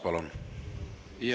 Palun!